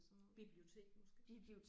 Bibliotek måske